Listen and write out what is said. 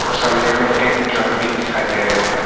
और सामने में एक ड्रम भी दिखाई दे रहे है।